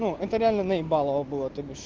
ну это реально наебалово было то бишь